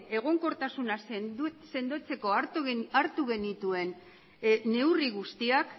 egonkortasuna sendotzeko hartu genituen neurri guztiak